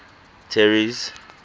terry's